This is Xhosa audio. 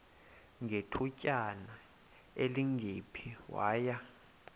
ngethutyana elingephi waya